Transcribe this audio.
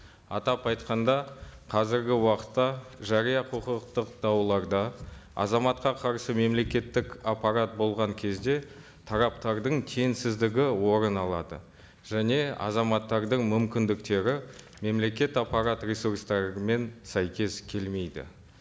атап айтқанда қазіргі уақытта жария құқықтық дауларда азаматқа қарсы мемлекеттік аппарат болған кезде тараптардың кеңсіздігі орын алады және азаматтардың мүмкіндіктері мемлекет аппарат ресурстарымен сәйкес келмейді